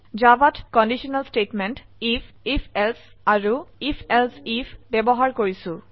জাভাত conditional statement IF ifএলছে আৰু ifএলছে আইএফ ব্যবহাৰ কৰিছো